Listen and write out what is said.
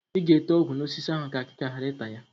Ị ga-ete ọgwụ n'osisi ahụ ka akịka ghara ịta ya?